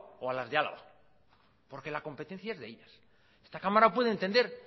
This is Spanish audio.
o a las de álava porque la competencia es de ellas esta cámara puede entender